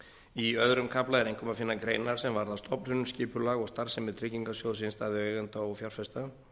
í öðrum kafla er einkum að finna greinar sem varða stofnun skipulag og starfsemi tryggingarsjóðs innstæðueigenda og fjárfesta